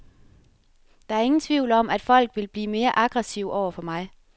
Der er ingen tvivl om, at folk vil blive mere aggressive over for mig.